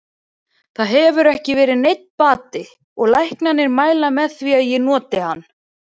Það hefur ekki verið neinn bati og læknarnir mæla með því að ég noti hann.